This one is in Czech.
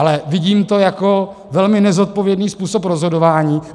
Ale vidím to jako velmi nezodpovědný způsob rozhodování.